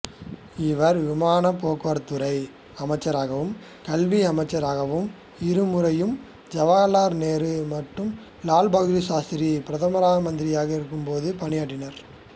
இவர் விமானப்போக்குவரத்துத்துறை அமைச்சராகவும்கல்வி அமைச்சராக இருமுறையும் ஜவஹர்லால் நேரு மற்றும் லால் பகதூர் சாஸ்த்ரி பிரதம மந்திரியாக இருந்தபோது பணியாற்றினார்